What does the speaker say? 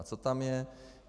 A co tam je?